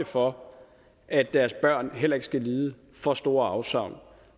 for at deres børn heller ikke skal lide for store afsavn